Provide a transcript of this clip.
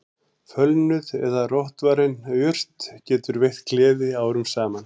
Fölnuð eða rotvarin jurt getur veitt gleði árum saman